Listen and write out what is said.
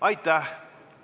Aitäh!